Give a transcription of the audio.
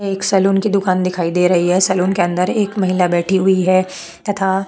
एक सलून की दुकान दिखाई दे रही है सलून के अंदर एक महिला बैठी हुई है तथा --